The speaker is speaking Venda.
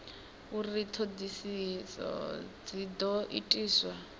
uri ṱhoḓisio dzi ḓo itiswa